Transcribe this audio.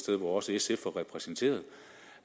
sted hvor også sf var repræsenteret